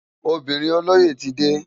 Óbirin ólóyé ti dé